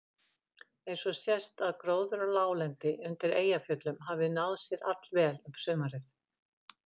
Einnig sést að gróður á láglendi undir Eyjafjöllum hafði náð sér allvel um sumarið.